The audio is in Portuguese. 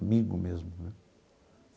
Amigo mesmo, né?